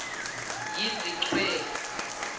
yizichwe